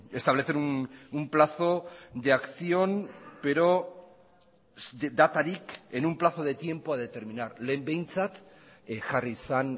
establecer un plazo de acción pero datarik en un plazo de tiempo a determinar lehen behintzat jarri zen